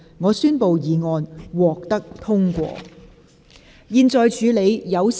我宣布議案獲得通過。